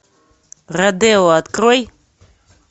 родео открой